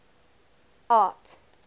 art